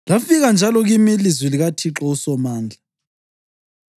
Lafika njalo kimi ilizwi likaThixo uSomandla.